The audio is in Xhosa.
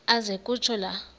aze kutsho la